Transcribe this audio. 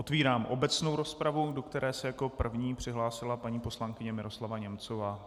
Otvírám obecnou rozpravu, do které se jako první přihlásila paní poslankyně Miroslava Němcová.